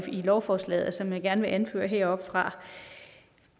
lovforslaget som jeg gerne vil anføre heroppefra